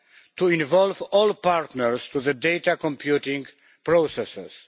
to involve all partners in the data computing processes.